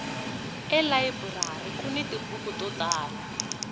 elayiburari kuni tibuku to tala